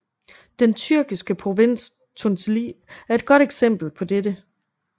Den tyrkiske provins Tunceli er et godt eksempel på dette